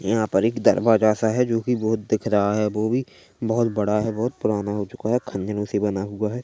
यहाँ पर एक दरवाजा सा है जो की बहुत दिख रहा है वो भी बहुत बड़ा है बहुत पुराना हो चुका है खंडरों से बना हुआ है।